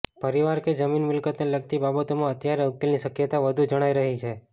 પરિવાર કે જમીન મિલકતને લગતી બાબતોમાં અત્યારે ઉકેલની શક્યતા વધુ જણાઇ રહી છે